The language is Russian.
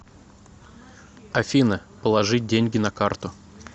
афина положить деньги на карту